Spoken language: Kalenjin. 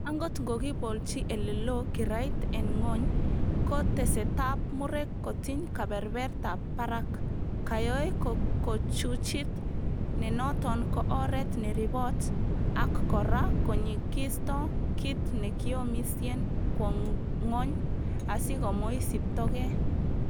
Angot ko kikibolchi ele loo kirait en gwony, ko tesetab muurek kotiny kebebertab barak, koyoe kokuchuchit nenoton ko oret neribot, ak kora konyikisto kit nekiomisien kwo ngwony asi komoisibto gee.